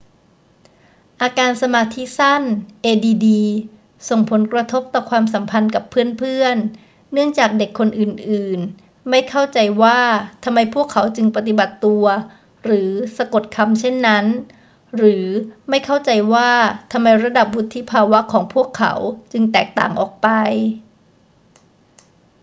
อาการสมาธิสั้น add ส่งผลกระทบต่อความสัมพันธ์กับเพื่อน ๆ เนื่องจากเด็กคนอื่น ๆ ไม่เข้าใจว่าทำไมพวกเขาจึงปฏิบัติตัวหรือสะกดคำเช่นนั้น หรือไม่เข้าใจว่าทำไมระดับวุฒิภาวะของพวกเขาจึงแตกต่างออกไป